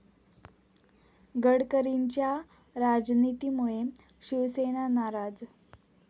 गडकरींच्या 'राज'नितीमुळे शिवसेना नाराज